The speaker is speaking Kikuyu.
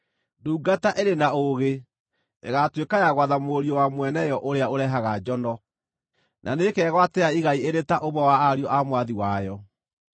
Ndungata ĩrĩ na ũũgĩ ĩgaatuĩka ya gwatha mũriũ wa mwene yo ũrĩa ũrehaga njono, na nĩĩkegwatĩra igai ĩrĩ ta ũmwe wa ariũ a mwathi wayo.